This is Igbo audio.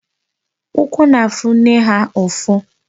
Ụkwụ na-afụ nne ha ụfụ.